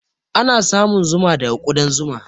Ana samun Zuma daga kuɗan Zuma.